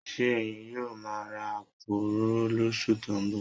Ṣé ẹ̀yin yóò máa ra àpò òróró lóṣù tó ń bọ̀?